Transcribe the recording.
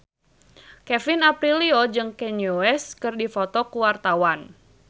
Kevin Aprilio jeung Kanye West keur dipoto ku wartawan